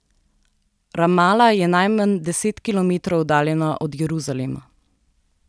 Ramala je najmanj deset kilometrov oddaljena od Jeruzalema.